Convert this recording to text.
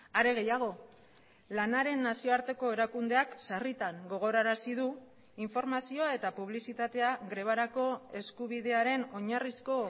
are gehiago lanaren nazioarteko erakundeak sarritan gogorarazi du informazioa eta publizitatea grebarako eskubidearen oinarrizko